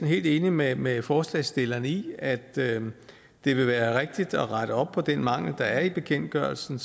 helt enige med med forslagsstillerne i at det vil være rigtigt at rette op på den mangel der er i bekendtgørelsen